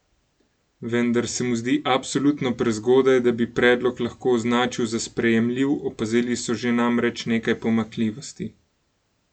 Vendar se mu zdi absolutno prezgodaj, da bi predlog lahko označil za sprejemljiv, opazili so že namreč nekaj pomanjkljivosti.